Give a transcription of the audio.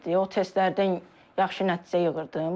O testlərdən yaxşı nəticə yığırdım.